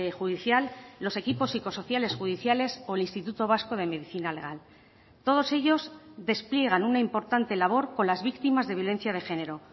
judicial los equipos psicosociales judiciales o el instituto vasco de medicina legal todos ellos despliegan una importante labor con las víctimas de violencia de género